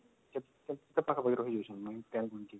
କେତେ ପାଖା ପାଖି ରହୁଛନ୍ତି